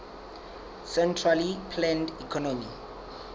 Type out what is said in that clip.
centrally planned economy